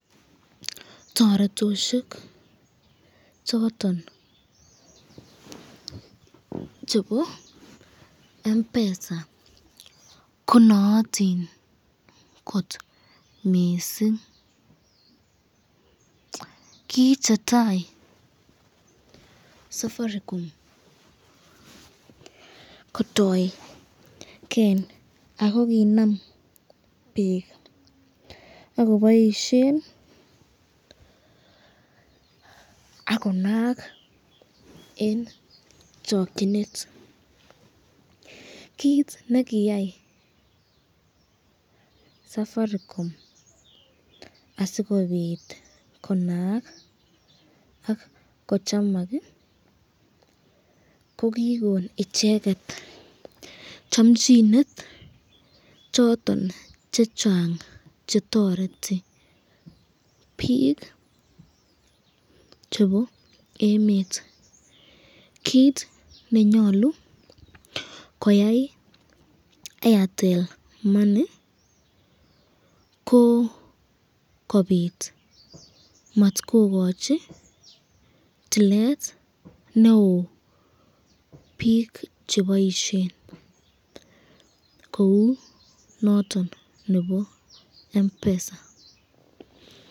Torotosyek choton chebo Mpesa, ko nootin kot missing, ki chetai safaricom koroiken ako kinam bik akoboisyen akonaak eng chokyinet, kit ne koyai safaricom asikobit akonaak ak ko chamak ko kikon icheket chamchinet choton chechang chetoreti bik chebo emet, kit nenyalu koyai Airtel money ko kobit matkokochi toilet neo bik cheboisyen kou noton nebo Mpesa.